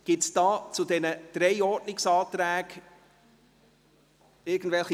Gibt es irgendwelche Wortmeldungen zu diesen drei Ordnungsanträgen?